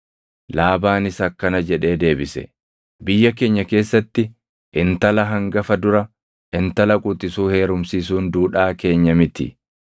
Laabaanis akkana jedhee deebise; “Biyya keenya keessatti intala hangafa dura intala quxisuu heerumsiisuun duudhaa keenya miti.